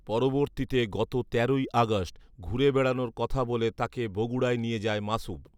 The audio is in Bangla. পরবর্তীতে গত তেরোই আগস্ট ঘুরে বেড়ানোর কথা বলে তাকে বগুড়ায় নিয়ে যায় মাসুম